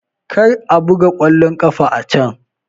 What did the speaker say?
Kar a buga ƙwallon kafa a can!